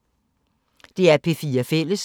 DR P4 Fælles